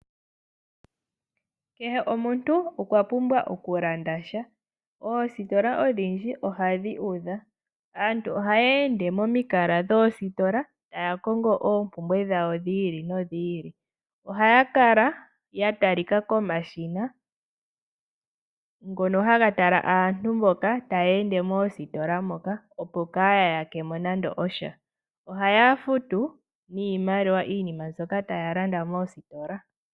Kehe omuntu okwapumbwa okulanda sha. Oositola odhindji ohadhi udha, aantu ohaya ende momikala dhoositola taya kongo oompumbwe dhawo dhi ili nodhi ili. Ohaya kala ya talika komashina ngono haga tala aantu mboka taya ende moositola moka, opo kaya ya yake mo nande osha. Ohaya futu niimaliwa iinima mbyoka taya landa moositola.